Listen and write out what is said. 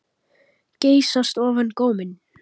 Geysast ofan góminn.